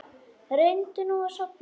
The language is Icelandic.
Reyndu nú að sofna.